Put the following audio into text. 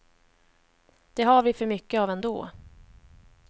Det har vi för mycket av ändå.